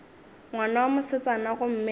ngwana wa mosetsana gomme a